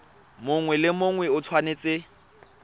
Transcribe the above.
mongwe le mongwe o tshwanetse